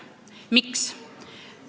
Miks?